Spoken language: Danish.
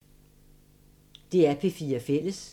DR P4 Fælles